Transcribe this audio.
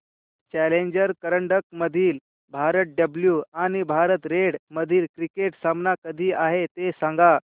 challenger करंडक मधील Bharat blue आणि भारत रेड मधील क्रिकेट सामना कधी आहे ते सांगा